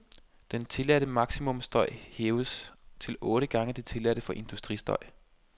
Den tilladte maksimumstøj hæves til otte gange det tilladte for industristøj.